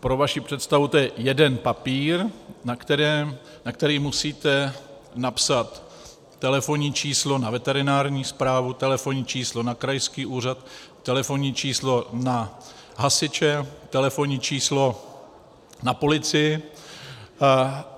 Pro vaši představu, je to jeden papír, na který musíte napsat telefonní číslo na veterinární správu, telefonní číslo na krajský úřad, telefonní číslo na hasiče, telefonní číslo na policii.